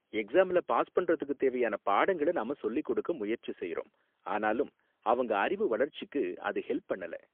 எக்ஸாம்ல பாஸ் பண்றதுக்கு தேவையான பாடங்கள நாம சொல்லிக் கொடுக்க முயற்சி செய்றோம், ஆனாலும் அவங்க அறிவு வளர்ச்சிக்கு அது ஹெல்ப் பண்ணல.